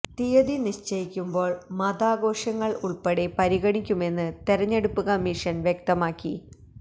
തീയതി നിശ്ചയിക്കുമ്പോള് മതാഘോഷങ്ങള് ഉള്പ്പെടെ പരിഗണിക്കുമെന്ന് തെരഞ്ഞെടുപ്പ് കമ്മീഷന് വ്യക്തമാക്കി